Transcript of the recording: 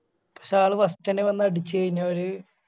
പക്ഷെ അയാള് First ന്നെ വന്ന് അടിച്ച് കയിഞ്ഞ ഓര്